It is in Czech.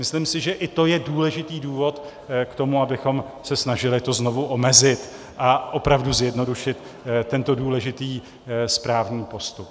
Myslím si, že i to je důležitý důvod k tomu, abychom se snažili to znovu omezit a opravdu zjednodušit tento důležitý správní postup.